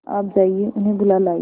आप जाइए उन्हें बुला लाइए